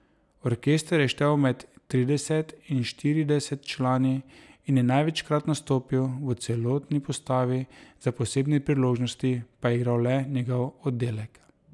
Orkester je štel med trideset in štirideset člani in je največkrat nastopil v celotni postavi, za posebne priložnosti pa je igral le njegov oddelek.